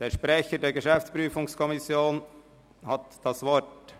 Der Sprecher der GPK hat das Wort.